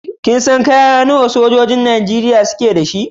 Kin san kaya nawa sojojin Najeriya suke da shi?